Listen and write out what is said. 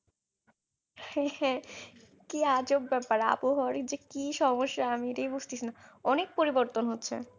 হ্যাঁ হ্যাঁ কি আজব ব্যাপার আবহাওয়ার যে কি সমস্যা আমি এটাই বুঝতেছিনা অনেক পরিবর্তন হচ্ছে